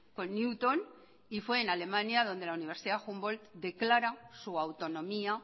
con newton y fue en alemania donde la universidad humboldt declara su autonomía